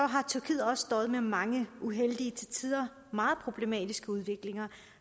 har tyrkiet også døjet med mange uheldige til tider meget problematiske udviklinger